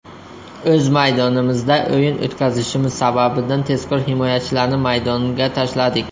O‘z maydonimizda o‘yin o‘tkazishimiz sababidan tezkor himoyachilarni maydonga tashladik.